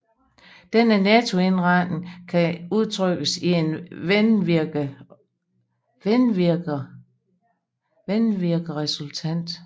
Denne nettovindretning kan udtrykkes i en vindvirkeresultant